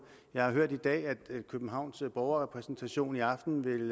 jeg har hørt i dag at københavns borgerrepræsentation i aften vil